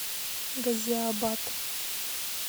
газиабад